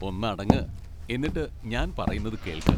ഒന്നടങ്ങ്, എന്നിട്ട് ഞാൻ പറയുന്നത് കേൾക്ക്.